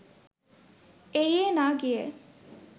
এড়িয়ে না গিয়ে